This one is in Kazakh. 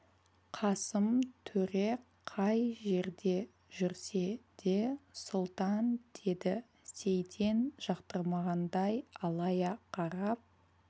қасым төре қай жерде жүрсе де сұлтан деді сейтен жақтырмағандай алая қарап